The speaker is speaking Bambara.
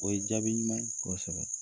O ye jaabi ɲuman ye. Kosɛbɛ.